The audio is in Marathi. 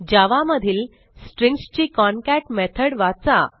जावा मधील स्ट्रिंग्ज ची कॉन्कॅट मेथड वाचा